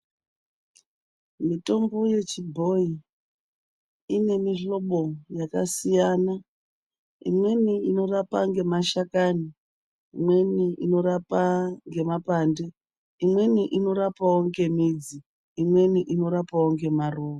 Mitombo yechibhoyi ine mihlobo yakasiyana. Imweni inorapa ngemashakani, imweni inorapa ngemapande, imweni inorapawo nemidzi, imweni inorapawo nemaruwa.